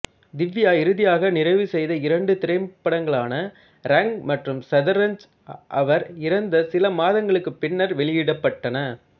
திவ்யா இறுதியாக நிறைவு செய்த இரண்டு திரைப்படங்களான ரங் மற்றும் ஷத்ரன்ஞ் அவர் இறந்த சில மாதங்களுக்குப் பின்னர் வெளியிடப்பட்டன